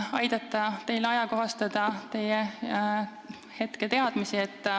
Ma tahan aidata teie hetketeadmisi ajakohastada.